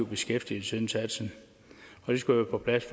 beskæftigelsesindsats og det skulle være på plads